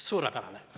Suurepärane!